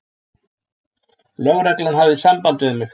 Lögreglan hafði samband við mig.